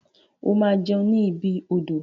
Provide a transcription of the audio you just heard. O ma jẹun ni ibi odò.